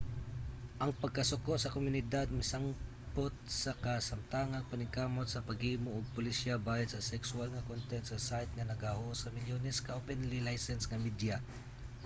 ang pagkasuko sa komunidad misangpot sa kasamtangang paningkamot sa paghimo og polisiya bahin sa sekswal nga content sa site nga naga-host sa milyones ka openly-licensed nga media